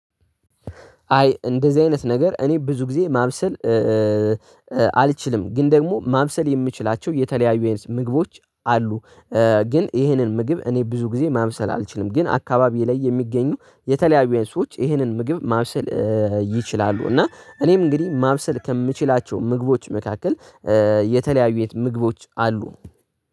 አይ እንደዚህ አይነት ነገር እኔ ብዙ ጊዜ ማብሰል አልችልም ግን ደግሞ ማብሰል የምችላቸው የተለያዩ ምግቦች አሉ። ግን ይሄንን ምግብ እኔ ብዙ ጊዜ ማምሰል አልችልም ግን አካባቢ ላይ የሚገኙ የተለያዩ የሰዎች ይህንን ምግብ ማብሰል ይችላሉ። እና እኔም እንግዲህ ማብሰል ከምችላቸው ምግቦች መካከል የተለያዩ የት ምግቦች አሉ።